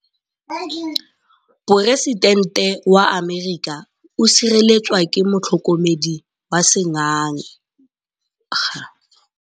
Poresitêntê wa Amerika o sireletswa ke motlhokomedi wa sengaga.